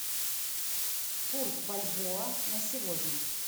курс бальбоа на сегодня